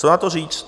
Co na to říct?